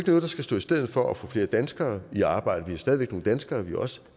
noget der skal stå i stedet for at få flere danskere i arbejde har stadig væk nogle danskere vi også